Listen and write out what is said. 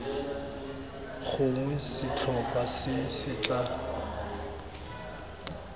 gongwe setlhopha se se tla